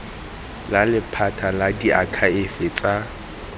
la lephata la diakhaefe tsa